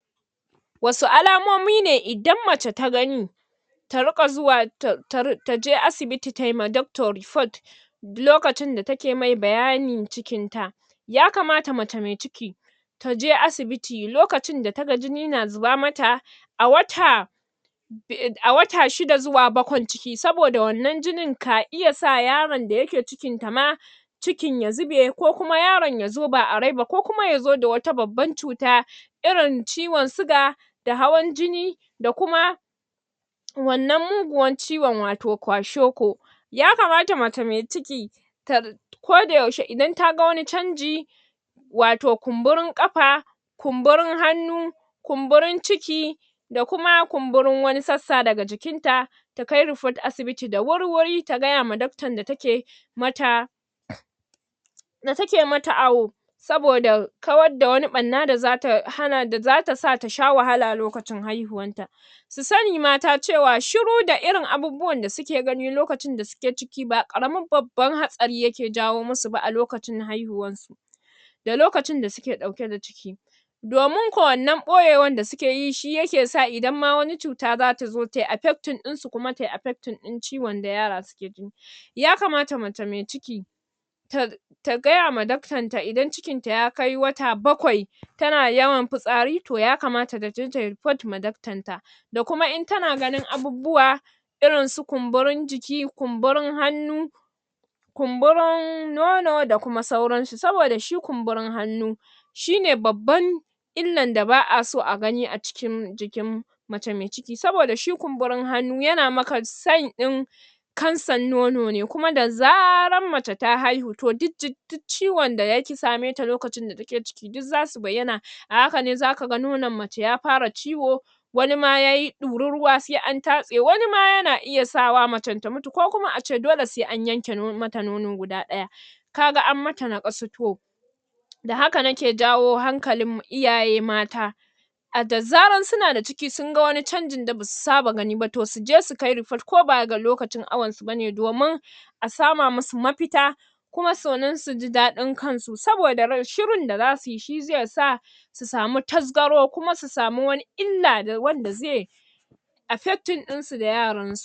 Wasu alamomi ne idan mace ta gani ta riƙa zuwa um taje asibiti taima doctor report lokacin da take mai bayanin cikin ta yakamata mace mai ciki taje asibiti lokacin da taga jini na zuba mata a wata um a wata shida zuwa bakwan ciki saboda wannan jinin ka iya sa yaron da yake cikinta ma cikin ya zube ko kuma yaron yazo ba a rai ba ko kuma yazo da wata babbar cuta irin ciwon siga da hawan jini da kuma wannan muguwan ciwon wato kwashiorkor yakamata mace mai ciki ta ko da yaushe idan taga wani canji wato kunburin ƙafa kunburin hanna kumburin ciki da kuma kumburin wasu sassa dake jikin ta takai report asibi da wurwuri ta gayawa doctor da take mata da take mata awo saboda kawar da wani ɓarna da zata hana da zata sa ta sha wahala lokacin haihuwar ta su sani mata cewa shiru da irin abubuwan da suke gani lokacin da suke ciki ba ƙaramin babban hatsari yake jawo musu ba a lokacin haihuwan su da lokacin da suke ɗauke da ciki dominko wannan ɓoyewa da suke yi shi yake sa idan ma wani cuta zata zo tayi a affecting ɗin sa kuma tayi affecting ɗin ciwon da yara suke ji yamakata mace mai ciki ta ta gayama daktonta idan cikin ta ya kai wata bakwai tana yawan fitsari to yakamata taje tayi report ma daktanta da kuma in tana ganin abubuwa irin su kumburin jiki kumburin hannu kumburin nono da kuma sauransu saboda shi kumburin hannu shine babban illar da baa so a gani a cikin jikin mace mai ciki, saboda shi kumbirin hannu yana maka sign ɗin kansar nono ne kuma da zarar mace ta haihu to um ciwon da ya ƙi sa me ta lokacin da take ciki duk zasu bayyana, a hakane zaka ga nonon mace ya fara ciwo wani ma ya ɗuri ruwa sai an tatse, wani ma yana iya sawa macen ta mutu ko kuma ace dole sai an yanke non mata nono duga ɗaya kaga an mata naƙasu, to da haka nake jawo hankalin m iyaye mata a da zarar suna da ciki, sunga wani canjin da basu saba gani ba, to suje su kai report ko ba ga lokacin awonsu ba ne domin a sama musu mafita kuma so nin suji daɗin kansu, saboda ra shurin da zasuyi shi zai sa su samu tasgaro kuma su sami wani illa wanda zai affecting ɗinsu da yaran su